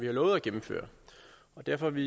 har lovet at gennemføre og derfor er vi